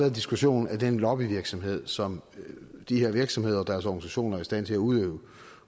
en diskussion af den lobbyvirksomhed som de her virksomheder og deres organisationer er i stand til at udøve